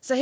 så